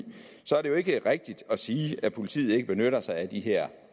i så er det jo ikke rigtigt at sige at politiet ikke benytter sig af de her